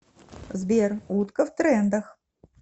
сбер утка в трендах